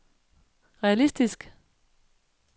realistisk